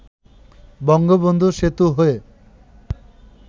বঙ্গবন্ধু সেতু হয়ে